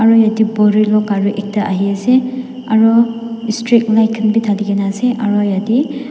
aro yadae bolero kari ekta ahi asae aro street light khan bi dalikina asae aro yadae.